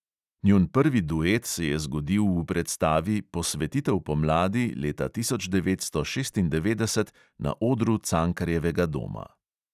Njun prvi duet se je zgodil v predstavi posvetitev pomladi leta devetnajststo šestindevetdeset na odru cankarjevega doma.